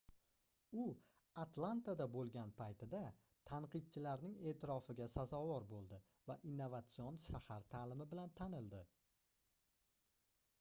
u atlantada boʻlgan paytida tanqidchilarning eʼtirofiga sazovor boʻldi va innovatsion shahar taʼlimi bilan tanildi